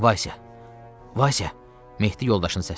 Vasya, Vasya, Mehdi yoldaşını səslədi.